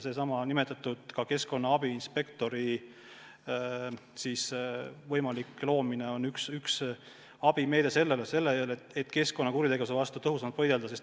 Sellesama keskkonna abiinspektori ametikoha võimalik loomine on üks abimeede selleks, et keskkonnakuritegevuse vastu tõhusamalt võidelda.